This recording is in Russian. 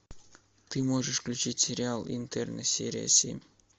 ты можешь включить сериал интерны серия семь